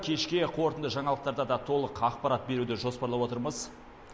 кешке қорытынды жаңалықтарда да толық ақпарат беруді жоспарлап отырмыз